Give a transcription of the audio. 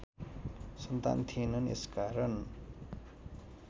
सन्तान थिएन यसकारण